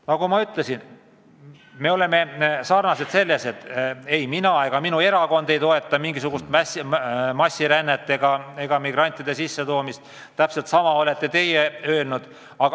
Nagu ma ütlesin, me oleme sarnased selles mõttes, et ei mina ega minu erakond ei toeta mingisugust massilist rännet ja migrantide sissetoomist ja täpselt sama olete teie öelnud.